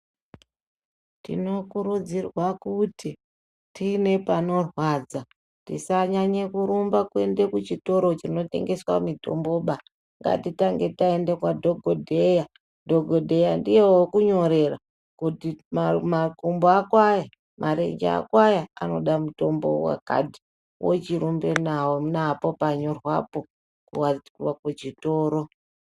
Tino kurudzirwa kuti tiine pano rwadza tisanyanye kurumba kuende ku chikora chino tengeswa mutombo baa ngati tange taende kwa dhokodheya dhokodheya ndiye woku nyorera kuti makumbo ako aya marenja ako aya anoda mutombo wakati wochi rumba napo panyorwapo ku chitoro.